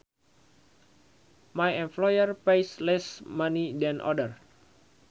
My employer pays less money than other